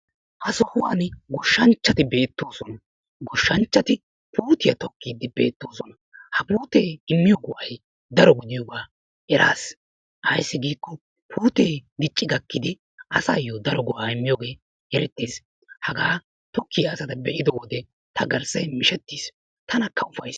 Ha sohuwan gooshanchchati beetosona. Gooshshanchat puutiya tokkiiddi beettiosona. Ha puute immiyo go'ay daro gidiyoga erasi. Ayssi giikko puute dicci gakkidi asaayo daro go'a immiyoge eretees. Haga tokkiya asaa be'ido wode ta garssay mishettis; tanakka ufayssis.